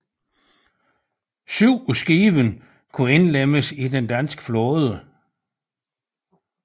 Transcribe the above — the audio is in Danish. Syv af skibene kunne indlemmes i den danske flåde